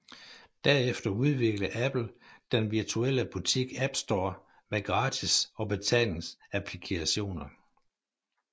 Derefter udviklede Apple den virtuelle butik App Store med gratis og betalingsapplikationer